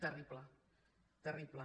terrible terrible